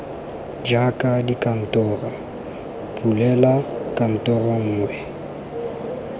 jaaka dikantoro bulela kantoro nngwe